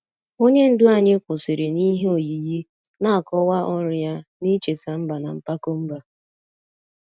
Onye ndu anyị kwụsịrị n'ihe oyiyi, na-akọwa ọrụ ya n'icheta mba na mpako mba.